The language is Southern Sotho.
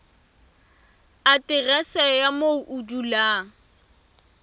aterese ya moo o dulang